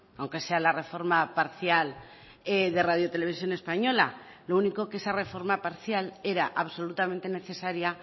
aunque sea la reforma parcial de radio televisión española lo único que esa reforma parcial era absolutamente necesaria